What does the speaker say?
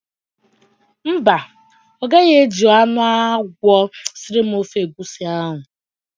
Mba, ọ gaghị eji anụ agwọ siri m ofe egwusi ahụ.